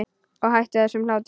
Og hættu þessum hlátri.